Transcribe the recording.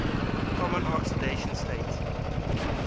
common oxidation state